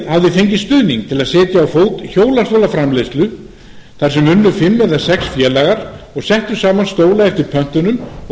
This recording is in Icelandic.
félagið hafði fengið stuðning til að setja á fót hjólastólaframleiðslu þar sem unnu fimm eða sex félagar og settu saman stóla eftir pöntunum og